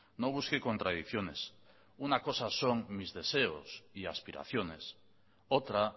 no busque contradicciones una cosa son mis deseos y aspiraciones otra